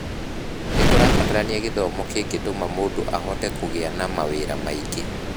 Nĩ kũbatarania gĩthomo kĩngĩtũma mũndũ ahote kũgĩa na mawĩra maingĩ.